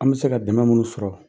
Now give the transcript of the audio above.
An be se ka dɛmɛ minnu sɔrɔ